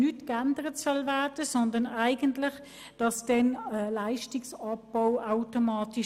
Stattdessen soll es automatisch zum Leistungsabbau kommen.